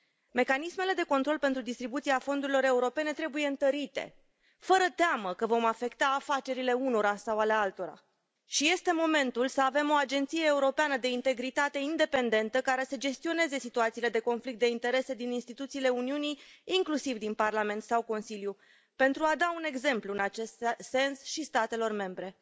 Mecanismele de control pentru distribuția fondurilor europene trebuie întărite, fără teamă că vom afecta afacerile unora sau ale altora și este momentul să avem o agenție europeană de integritate independentă care să gestioneze situațiile de conflict de interese din instituțiile Uniunii, inclusiv din Parlament sau Consiliu, pentru a da un exemplu în acest sens și statelor membre.